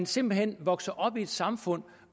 simpelt hen vokser op i et samfund